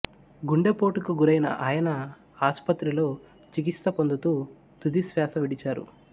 గుండెపోటుకు గురైన ఆయన ఆసుపత్రిలో చికిత్స పొందుతూ తుదిశ్వాస విడిచారు